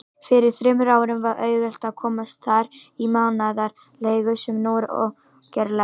Fyrir þremur árum var auðvelt að komast þar í mánaðarleigu, sem nú er ógerlegt.